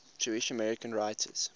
jewish american writers